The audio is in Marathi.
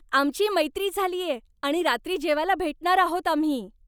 आमची मैत्री झालीये आणि रात्री जेवायला भेटणार आहोत आम्ही.